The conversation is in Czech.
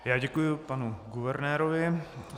Já děkuji panu guvernérovi.